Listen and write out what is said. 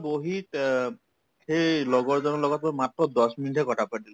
বহি তেব্ সেই লগৰজনৰ লগত মোৰ মাত্ৰ দহ minute হে কথা পাতিলো